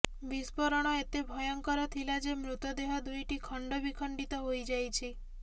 ବିସ୍ଫୋରଣ ଏତେ ଭୟଙ୍କର ଥିଲା ଯେ ମୃତଦେହ ଦୁଇଟି ଖଣ୍ଡବିଖଣ୍ଡିତ ହୋଇଯାଇଛି